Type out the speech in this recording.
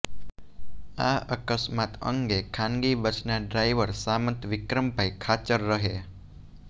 આ અકસ્માત અંગે ખાનગી બસના ડ્રાઈવર સામંત વિક્રમભાઈ ખાચર રહે